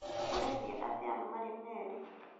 Ũrendia atĩa marĩ meerĩ?